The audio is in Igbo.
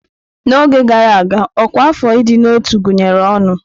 N'oge gara aga, Ọkwa afọ ịdị na ọtú gụnyere ọnụ.